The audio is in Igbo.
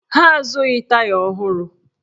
Ha azụghị taya ọhụrụ